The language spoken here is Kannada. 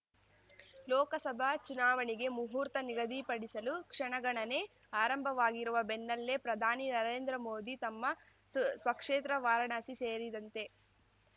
ಲೋಕಸಭಾ ಚುನಾವಣೆಗೆ ಮುಹೂರ್ತ ನಿಗಧಿಪಡಿಸಲು ಕ್ಷಣಗಣನೆ ಆರಂಭವಾಗಿರುವ ಬೆನ್ನಲ್ಲೇ ಪ್ರಧಾನಿ ನರೇಂದ್ರ ಮೋದಿ ತಮ್ಮ ಸ್ ಸ್ವಕ್ಷೇತ್ರ ವಾರಣಾಸಿ ಸೇರಿದಂತೆ